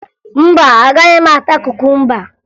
Mba, agaghị m ata kukumba